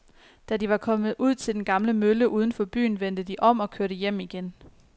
Da de var kommet ud til den gamle mølle uden for byen, vendte de om og kørte hjem igen.